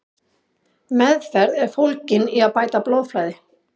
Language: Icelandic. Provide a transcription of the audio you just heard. Meðferð er fólgin í að bæta blóðflæði.